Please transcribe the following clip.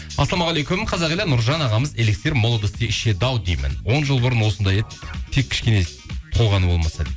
ассалаумағалейкум қазақ елі нұржан ағамыз элексир молодости ішеді ау деймін он жыл бұрын осындай еді тек кішкене толғаны болмаса дейді